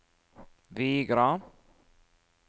Vigra